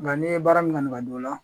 Nga n'i ye baara min kanu ka don o la